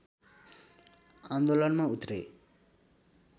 आन्दोलनमा उत्रे